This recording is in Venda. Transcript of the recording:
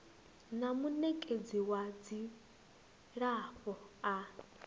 na munekedzi wa dzilafho a